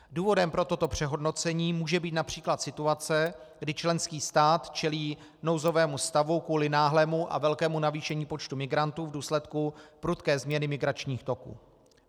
Důvodem pro toto přehodnocení může být například situace, kdy členský stát čelí nouzovému stavu kvůli náhlému a velkému navýšení počtu migrantů v důsledku prudké změny migračních toků.